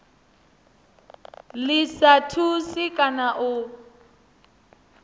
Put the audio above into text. ḽi sa thusi kana u